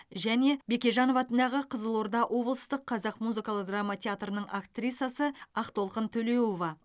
және бекежанов атындағы қызылорда облыстық қазақ музыкалық драма театрының актрисасы ақтолқын төлеуова